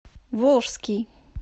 волжский